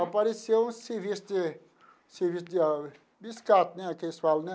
Apareceu um serviço de, serviço de biscate, né, que eles falam, né?